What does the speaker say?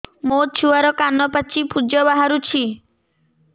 ମୋ ଛୁଆର କାନ ପାଚି ପୁଜ ବାହାରୁଛି